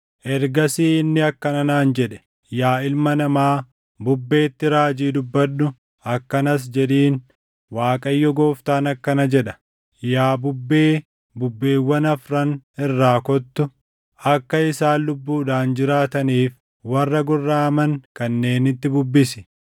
Ergasii inni akkana naan jedhe; “Yaa ilma namaa, bubbeetti raajii dubbadhu; akkanas jedhiin; ‘ Waaqayyo Gooftaan akkana jedha: Yaa bubbee, bubbeewwan afran irraa kottu; akka isaan lubbuudhaan jiraataniif warra gorraʼaman kanneenitti bubbisi.’ ”